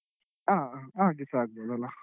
ಹಾ ಹಾಗೆ ಸ ಆಗ್ಬೋದಲ್ಲ.